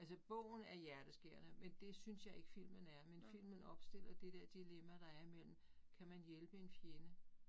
Altså bogen er hjerteskærende, men det synes jeg ikke filmen er. Men filmen opstiller det der dilemma, der er imellem kan man hjælpe en fjende?